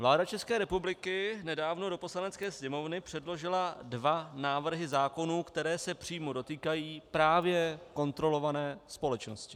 Vláda České republiky nedávno do Poslanecké sněmovny předložila dva návrhy zákonů, které se přímo dotýkají právě kontrolované společnosti.